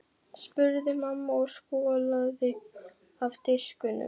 spurði mamma og skolaði af diskunum.